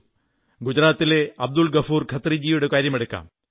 ഗുജറാത്തിലെ അബ്ദുൾ ഗഫൂർ ഖത്രിജിയുടെ കാര്യമെടുക്കാം